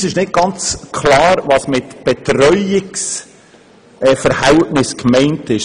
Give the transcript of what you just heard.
Uns ist jedoch nicht ganz klar, was mit «Betreuungsverhältnis» gemeint ist.